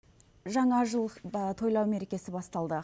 жаңа жыл тойлау мерекесі басталды